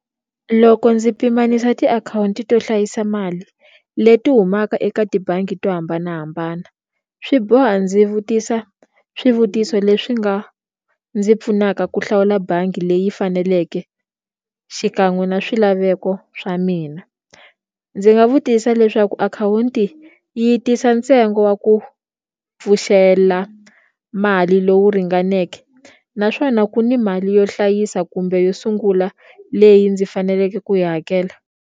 Loko ndzi pimanisa tiakhawunti to hlayisa mali leti humaka eka tibangi to hambanahambana swi boha ndzi vutisa swivutiso leswi nga ndzi pfunaka ku hlawula bangi leyi faneleke xikan'we na swilaveko swa mina ndzi nga vutisa leswaku akhawunti yi tisa ntsengo wa ku pfuxela mali lowu ringaneke naswona ku ni mali yo hlayisa kumbe yo sungula leyi ndzi faneleke ku yi hakela.